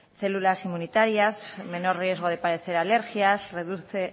células inmunitarias menor riesgo de padecer alergias reduce